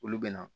Olu bɛ na